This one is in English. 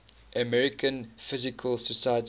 american physical society